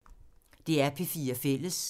DR P4 Fælles